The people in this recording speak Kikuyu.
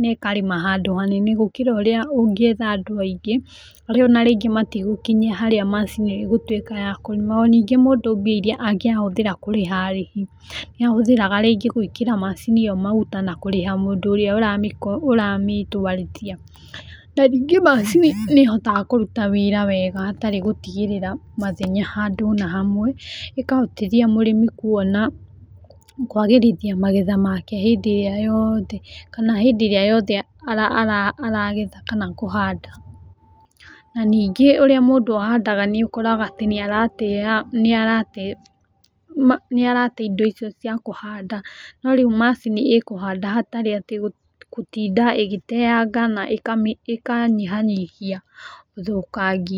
na ĩkarĩma handũ hanene gũkĩra ũrĩa ũngĩetha andũ aingĩ arĩa ona rĩngĩ matigũkinyia harĩa macini ĩgũtũĩka ya kũrĩma, na ningĩ mũndũ mbia iria angĩatũmĩra kũrĩha arĩhi nĩahũthĩraga rĩngĩ gwĩkĩra macini ĩyo maguta na kũrĩha mũndũ ũrĩa ũramĩtwarithia , na rĩngĩ macini nĩĩhotaga kũruta wĩra wega hatarĩ gũtigĩrĩra mathenya handũ ona hamwe, ĩkahotithia mũrĩmi kuona kwagĩrithia magetha make hĩndĩ ĩrĩa yothe aragetha kana kũhanda. Na ningĩĩ ũrĩa mundũ ahandaga nĩ ũrakora atĩ nĩarate indo icio cia kũhanda no rĩu macini ĩkũhanda hatarĩ atĩ gũtinda ĩgĩteanga na ĩkanyihanyihia ũthũkangia.